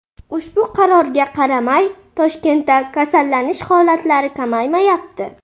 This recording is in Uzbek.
Ushbu qarorga qaramay, Toshkentda kasallanish holatlari kamaymayapti.